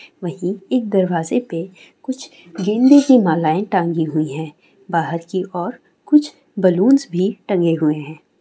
वहीं एक दरवाजे पे कुछ गेंदे की मालाए टांगी हुई हें। बाहर की और कुछ बलुंस भी टंगे हुवे हें।